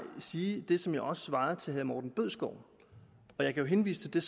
sige det som jeg også svarede herre morten bødskov og jeg kan henvise til